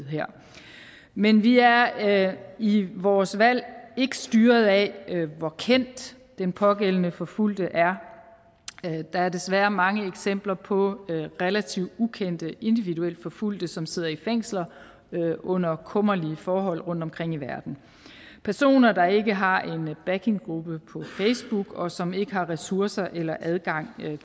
men vi er i vores valg ikke styret af hvor kendt den pågældende forfulgte er der er desværre mange eksempler på relativt ukendte individuelt forfulgte som sidder i fængsel under kummerlige forhold rundtomkring i verden personer der ikke har en backinggruppe på facebook og som ikke har ressourcer eller adgang